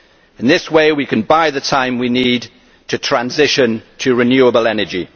In this way we can buy the time we need to transition to renewable energy.